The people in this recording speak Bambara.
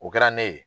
O kɛra ne ye